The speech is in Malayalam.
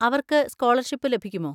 അവർക്ക് സ്കോളർഷിപ്പ് ലഭിക്കുമോ?